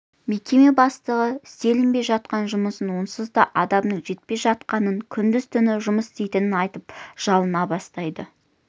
мекеме бастығы істелінбей жатқан жұмысын онсыз да адамның жетпей жатқанын күндіз-түні жұмыс істейтінін айтып жалына бастайды